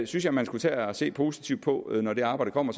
synes jeg man skulle tage at se positivt på når det arbejde kommer